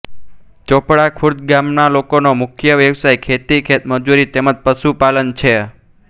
ચોપડા ખુર્દ ગામના લોકોનો મુખ્ય વ્યવસાય ખેતી ખેતમજૂરી તેમ જ પશુપાલન છે